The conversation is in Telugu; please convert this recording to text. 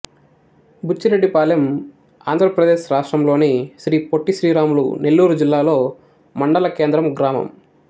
బుచ్చిరెడ్డిపాలెం ఆంధ్ర ప్రదేశ్ రాష్ట్రంలోని శ్రీ పొట్టి శ్రీరాములు నెల్లూరు జిల్లాలో మండల కేంద్రం గ్రామం